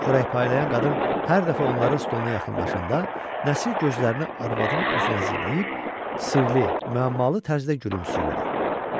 Xörək paylayan qadın hər dəfə onların stoluna yaxınlaşanda, Nəsir gözlərini arvadın üzünə zilləyib sirli, müəmmalı tərzdə gülümsəyirdi.